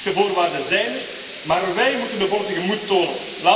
De economische voorwaarden zijn er, maar wij moeten de politieke moed tonen.